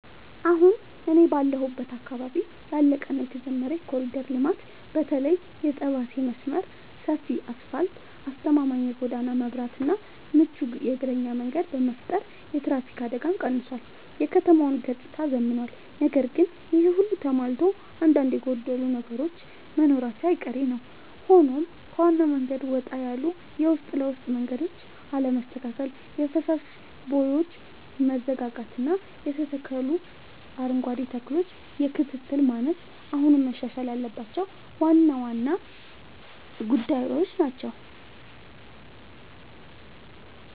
አሁን እኔ ባለሁበት አካባቢ ያለቀ እና የተጀመረ የኮሪደር ልማት (በተለይ የጠባሴ መስመር) ሰፊ አስፋልት: አስተማማኝ የጎዳና መብራትና ምቹ የእግረኛ መንገድ በመፍጠር የትራፊክ አደጋን ቀንሷል: የከተማዋንም ገጽታ አዝምኗል። ነገር ግን ይሄ ሁሉ ተሟልቶ አንዳንድ የጎደሉ ነገሮች መኖራቸው አይቀሬ ነዉ ሆኖም ከዋናው መንገድ ወጣ ያሉ የውስጥ ለውስጥ መንገዶች አለመስተካከል: የፍሳሽ ቦዮች መዘጋጋትና የተተከሉ አረንጓዴ ተክሎች የክትትል ማነስ አሁንም መሻሻል ያለባቸው ዋና ዋና ጉዳዮች ናቸው።